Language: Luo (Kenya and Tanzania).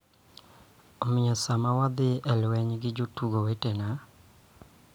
Omiyo, sama wadhi lweny gi jotugo wetewa .